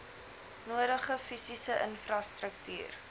nodige fisiese infrastruktuur